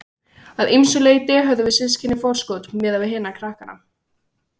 Að ýmsu leyti höfðum við systkinin forskot miðað við hina krakkana.